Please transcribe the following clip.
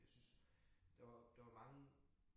Jeg syntes der var der var mange